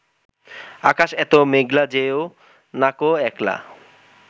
আকাশ এতো মেঘলা যেও নাকো একলা